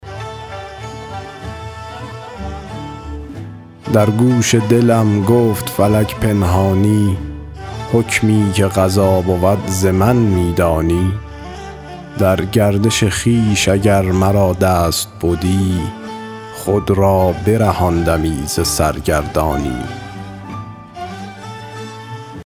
در گوش دلم گفت فلک پنهانی حکمی که قضا بود ز من می دانی در گردش خویش اگر مرا دست بدی خود را برهاندمی ز سرگردانی